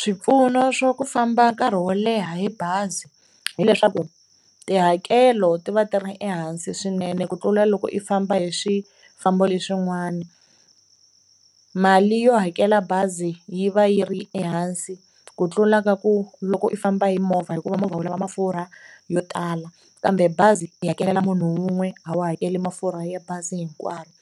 Swipfuno swo ku famba nkarhi wo leha hi bazi hileswaku tihakelo ti va ti ri ehansi swinene ku tlula loko i famba hi swifambo leswin'wana, mali yo hakela bazi yi va yi ri ehansi ku tlula ka ku loko u famba hi movha hikuva movha wu lava mafurha yo tala kambe bazi i hakelela munhu wun'we a wu hakeli mafurha ya bazi hinkwaro.